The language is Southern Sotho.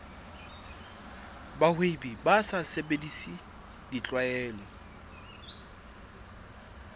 bahwebi ba sa sebedise tlwaelo